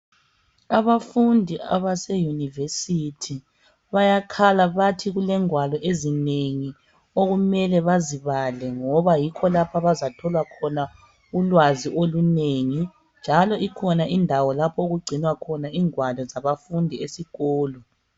Abafundi abaseyunivesithi bayakhala bathi kulengwalo ezinengi okumele bazibale ngoba yikho lapho abazathola khona ulwazi olunengi njalo ikhona indawo okugcinwa khona ingwalo zabafundi esikolo.